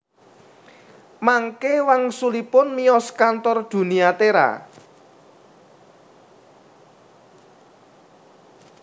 Mangke wangsulipun miyos kantor Dunia Tera